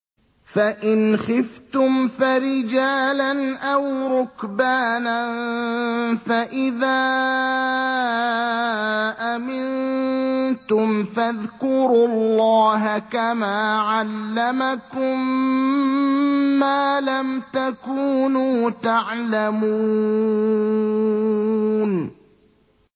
فَإِنْ خِفْتُمْ فَرِجَالًا أَوْ رُكْبَانًا ۖ فَإِذَا أَمِنتُمْ فَاذْكُرُوا اللَّهَ كَمَا عَلَّمَكُم مَّا لَمْ تَكُونُوا تَعْلَمُونَ